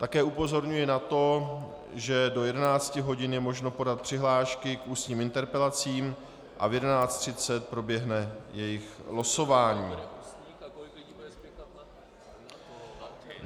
Také upozorňuji na to, že do 11 hodin je možno podat přihlášky k ústním interpelacím a v 11.30 proběhne jejich losování.